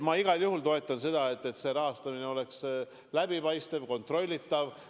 Ma igal juhul toetan seda, et see rahastamine oleks läbipaistev ja kontrollitav.